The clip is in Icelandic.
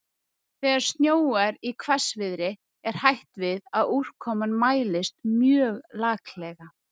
Þegar snjóar í hvassviðri er hætt við að úrkoman mælist mjög laklega.